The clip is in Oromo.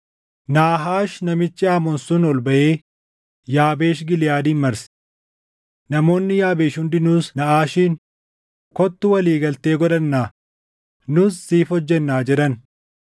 Naahaash namichi Amoon sun ol baʼee Yaabeesh Giliʼaadin marse. Namoonni Yaabeesh hundinuus Naaʼaashiin, “Kottu walii galtee godhannaa; nus siif hojjennaa” jedhan.